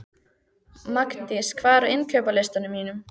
Magndís, hvað er á innkaupalistanum mínum?